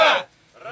Rusiya!